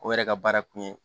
O yɛrɛ ka baara kun ye